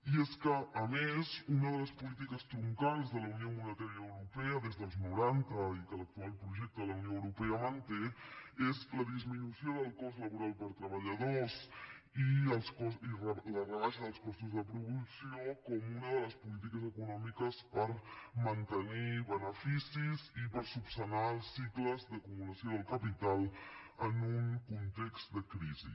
i és que a més una de les polítiques troncals de la unió monetària europea des dels noranta i que l’actual projecte de la unió europea manté és la disminució del cost laboral per treballador i la rebaixa dels costos de producció com una de les polítiques econòmiques per mantenir beneficis i per esmenar els cicles d’acumulació del capital en un context de crisi